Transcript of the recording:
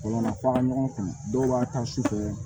Wala fɔ an ka ɲɔgɔn kun dɔw b'a ta su fɛ